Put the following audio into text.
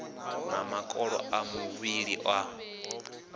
na makolo a muvhili a